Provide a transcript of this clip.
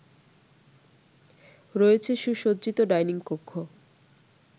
রয়েছে সুসজ্জিত ডাইনিং কক্ষ